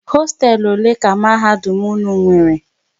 Hosteelu ole ka mahadum unu nwéré?